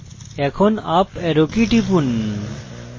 এখন up arrow key টিপুন